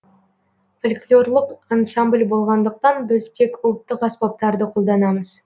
фольклорлық ансамбль болғандықтан біз тек ұлттық аспаптарды қолданамыз